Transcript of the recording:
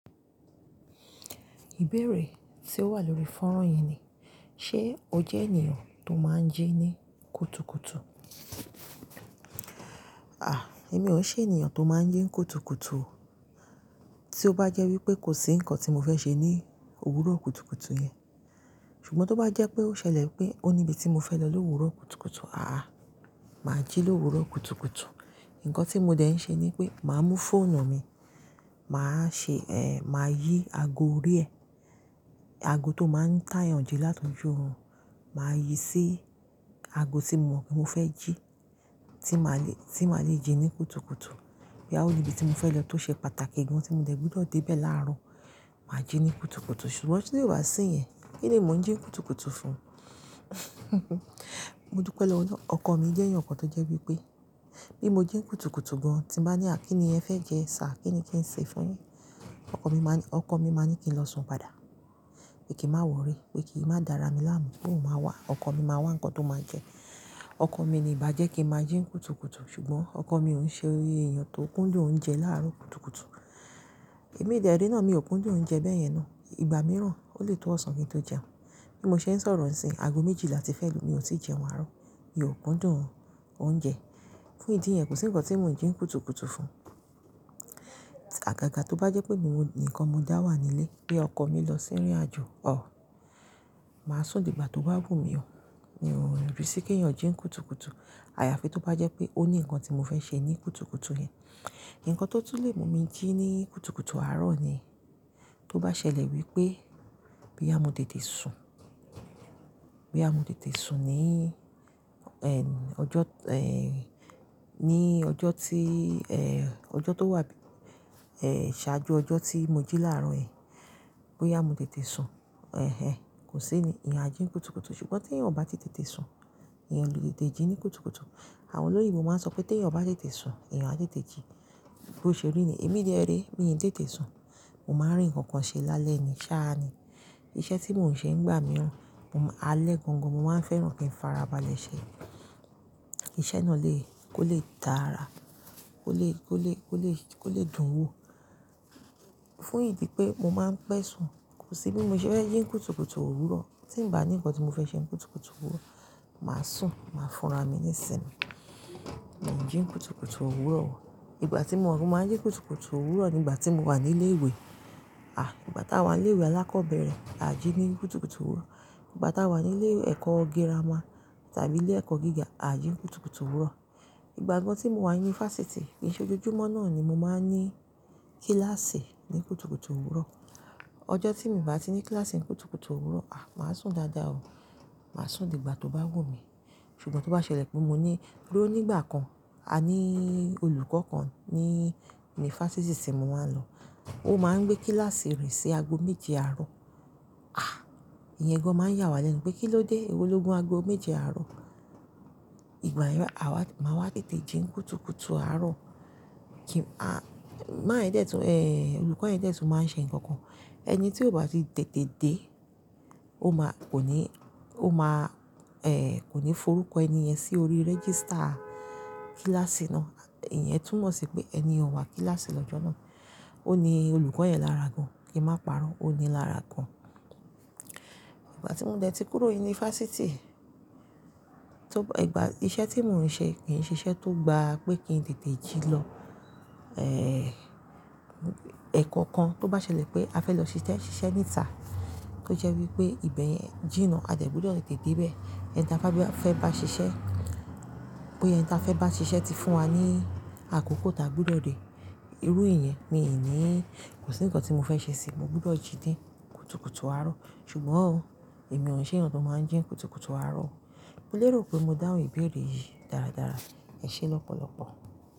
Ìbéèrè tí ó wà lórí fọ́nrán yẹn ni, ṣe o jẹ́ ènìyàn tó máa ń jí ní kùtùkùtù? À, èmi ò ṣe ènìyàn tó máa ń jí ní kùtùkùtù o. Tí ó bá jẹ́ wípé kò sí ǹkan tí mo fẹ́ ṣe ní òwúrọ̀ kùtùkùtù yẹn, ṣùgbọ́n tó bá jẹ́ pé ó ṣẹlẹ̀ wípé ó ní ibi tí mo fẹ́ lọ ní òwúrọ̀ kùtùkùtù, àà, màá jí lówurọ̀ kùtùkùtù. Ǹkan tí mo dẹ̀ ń ṣe ni pé màá mú fóònù mi, màá ṣe, eh, màá yí ago orí ẹ, ago tó máa ń táyànjẹ láti ojú òòrùn, màá yí sí ago tí mo mọ̀ pé mo fẹ́ jí tí màá le, tí màá le jí ní kùtùkùtù. Bo ya ò ní ibi tí mo fẹ́ lọ tó ṣe pàtàkì gan tí mo dẹ̀ gbọ́dọ̀ dé bẹ̀ láàárọ̀, màá jí ní kùtùkùtù. Ṣùgbọ́n ti ko ba á sí yẹn? Kíni mò ń jí kùtùkùtù fún? Mo dúpe lowo ọloun. Ọkọ mi jẹ́ ẹ̀yàn kan tó jẹ́ wípé bí mo jí kùtùkùtù gan, tí bàá ní, à kín ni ẹ fẹ́ jẹ, sir, kí ni kí n ṣe fún yin? Ọkọ mi máani, ọkọ mi máa ní kí n lọ sùn padà pé kií màá wòrry, pé kí ì máa dára mi láàmú, pé òun máa wà. Ọkọ mi máa wá ǹkan tó máa jẹ. Ọkọ mi ni ìbàjẹ́ kí màá jí kùtùkùtù. Ṣùgbọ́n ọkọ mi ò ń ṣe ẹ̀yàn tó kúndùn oúnjẹ láàárọ̀ kùtùkùtù. Èmi dẹ́ rẹ́ náà mi ò kúndùn oúnjẹ bẹ́ẹ̀ yẹn ná. Ìgbà mìíràn ó lè to ọ̀sán kí n tó jẹun. Bí mo ṣe ń sọ̀rọ̀ nísinyìí, ago méjìla ti fẹ́ lù mí ò tí ì jẹun àárọ̀. Mi ò kúndùn oúnjẹ. Fún ìdí yẹn, kò sí ǹkan tí mò ń jí kùtùkùtù fún. Àgàgà tó bá jẹ́ pémi nìkan mo dá wà nílé pé ọkọ mi lọ sí ìrìnàjò, ọ̀h, màá sùn dìgbà tó bá wù mí o. Mi ò rí sí kí ènìyàn jí kùtùkùtù. Àyàfi tó bá jẹ́ pé ó ní ǹkan tí mo fẹ́ ṣe ní kùtùkùtù yẹn. Ǹkan tó túlé mi mo jí ní kùtùkùtù àárọ̀ ni, tó bá ṣẹlẹ̀ wípé bo yà té te sùn, bo yà mo tete sùn ní, ẹ́ń, ọjọ́, ẹ́, ní ọjọ́ tí, ẹ́, ọjọ́ tó wà, ẹ́, ṣáájú ọjọ́ tí mo jí láàárọ̀ yẹn, bóyá mo té te sùn, ẹ́hẹ́n, kò sí ni èyàn á jín kùtùkùtù. Ṣùgbọ́n tí ènìyàn ò bá ti tètè sùn, ènìyàn óle tètè jí ní kùtùkùtù. Àwọn olóyinbo máa ń sọ pé tí èyàn ò bá tètè sùn, ènìyàn á tètè jí. Bó ṣe rí nii, èmi dẹ́ rẹ́e, mí n tètè sùn, mo máa rí ǹkan kan ṣe lálẹ́ ni, sáà ni. Iṣẹ́ tí mò ń ṣe ń gbà mí ran, mo máa, alẹ́ gan-an-gan, mo máa ń fẹ́ràn kí ń fara balẹ̀ ṣe. Kiṣẹ́ náà lè kó lè dára, kó lè, kó lè, kó lè, kó lè dùn wò. Fún ìdí pé mo máa ń pẹ́ sùn, kò sí bí mo ṣe fẹ́ jí n'kùtùkùtù òwúrọ̀. Tí ń bá ní ǹkan tí mo fẹ́ ṣe nkùtùkùtù òwúrọ̀, màá sùn, màá fúnra mi nísìnmí. Mi ò ń jí kùtùkùtù òwúrọ̀ o. Ìgbà tí mo ò wípé màá jí kùtùkùtù òwúrọ̀ nígbà tí mo wà ní ilé ìwé, à, ìgbà táa wà ní ilé ìwé alákọ̀ọ́bẹ̀rẹ̀, à jí ní kùtùkùtù òwúrọ̀. Ìgbà táa wà ní ilé ẹ̀kọ́ gírámà tàbí ilé ẹ̀kọ́ gíga, à jí kùtùkùtù òwúrọ̀. Ìgbà gan tí mo wà ní unifásitì, kiṣẹ́ ojojúmọ́ náà ni mo máa ń ní kílàsì ní kùtùkùtù òwúrọ̀. Ọjọ́ tí mo bá ti ní kílàsì kùtùkùtù òwúrọ̀, à, màá sùn dáadáa o. Màá sùn dìgbà tó bá wù mí. Ṣùgbọ́n tó bá ṣẹlẹ̀ pé mo ní, to ró nígbà kan a nií olùkọ́ kan ní, ní unifásitì tí mo máa ń lọ, ó máa ń gbé kílàsì rìn sí ago méje àárọ̀. À, ẹ̀yan gan máa ń yà wá lẹ́nu pé kí ló dé, èwo ló gún ago méje àárọ̀? Ìgbà yẹn, à wá, màá wá tètè jí kùtùkùtù àárọ̀. Kí, à, man ń dé tún, eh, olùkọ́ yẹn dé tún máa ń ṣe ǹkan kan. Ẹni tí ò bá ti tètè dé, ó máa kò ní, ó máa, eh, kò ní forúkọ ẹni yẹn sí orí rẹ́gísítà kílàsì náà. Ẹ̀yan tún mọ̀ sí pé ẹni ò wá kílàsì lọ́jọ́ náà. Ó ní olùkọ́ yẹn lára gan, kíì máa pàrọ̀, ó ní i lára gan. Ìgbà tí mo dẹ̀ ti kúrò ní unifásitì, tó, ìgbà, iṣẹ́ tí mò ń ṣe kì í ṣe iṣẹ́ tó gbaa pé kí n tètè jí lọ. Eh, ẹ̀kọ́ kan tó bá ṣẹlẹ̀ pé a fẹ́ lọ ṣiṣẹ́ níta, tó jẹ́ wípé ìbẹ̀ yẹn jìnà a dẹ̀ gbọ́dọ̀ tètè dé bẹ̀. Ẹ̀n táa bá fẹ́ bá ṣiṣẹ́, pé ẹ̀n táa fẹ́ bá ṣiṣẹ́ ti fún wa ní àkókò tí a gbọ́dọ̀ dé. Irú ìyẹn mi ò nií. Kò sí ǹkan tí mo fẹ́ ṣe sí i, mo gbọ́dọ̀ jí dé kùtùkùtù àárọ̀. Ṣùgbọ́n ò, èmi ò ṣe ènìyàn tó máa ń jí kùtùkùtù àárọ̀ o. Mo lérò pé mo dáhùn ìbéèrè yìí dáradára. Ẹ ṣé lọ́pọ̀lọpọ̀.